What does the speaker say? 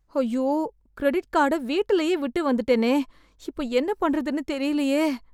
ஐயோ! கிரெடிட் கார்ட வீட்டுலேயே விட்டு வந்துட்டேனே! இப்போ என்ன பண்ணுறதுன்னு தெரியலையே!